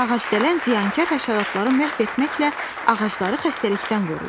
Ağac dələn ziyankar həşəratları məhv etməklə ağacları xəstəlikdən qoruyur.